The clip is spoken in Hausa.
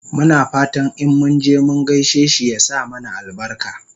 Muna fatan in munje mun gaishe shi ya sa mana albarka